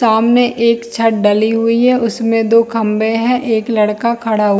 सामने एक छत ढली हुई हैउसमें दो खंभे है एक लड़का खड़ा--